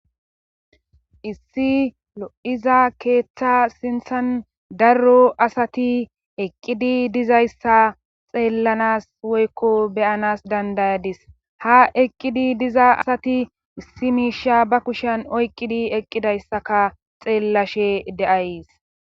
issi lo7iza keeththa sintsan darro asati eqqidi dizayssa xeellanas woykko beyanas dandayadis ha eqqidi diza asati issi miisha ba kushan oyqqidi eqqidayssaka xeellashe de7ays